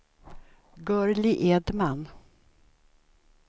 Gurli Edman